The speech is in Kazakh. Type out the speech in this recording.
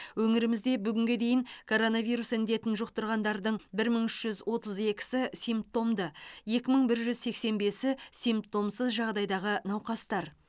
өңірімізде бүгінге дейін коронавирус індетін жұқтырғандардың бір мың үш жүз отыз екісі симптомды екі мың бір жүз сексен бесі симптомсыз жағдайдағы науқастар